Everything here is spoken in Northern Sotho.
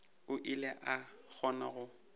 o ile a kgona go